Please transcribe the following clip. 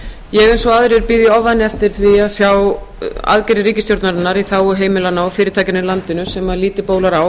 ég bíð eins og aðrir í ofvæni eftir því að sjá aðgerðir ríkisstjórnarinnar í þágu heimilanna og fyrirtækjanna í landinu sem lítið bólar á